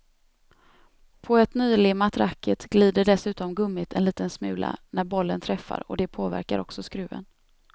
På ett nylimmat racket glider dessutom gummit en liten smula när bollen träffar och det påverkar också skruven.